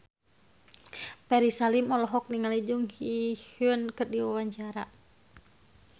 Ferry Salim olohok ningali Jung Ji Hoon keur diwawancara